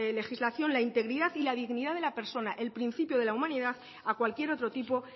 legislación la integridad y la dignidad de la persona el principio de la humanidad a cualquier otro tipo